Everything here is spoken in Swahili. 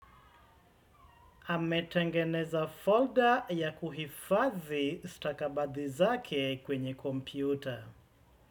Ametengeneza folder ya kuhifadhi stakabadhi zake kwenye kompyuta.